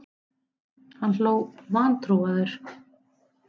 Hann hló vantrúaður.